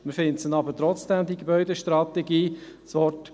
Man findet die Gebäudestrategie trotzdem.